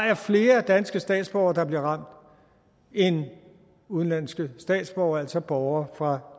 er flere danske statsborgere der bliver ramt end udenlandske statsborgere altså borgere fra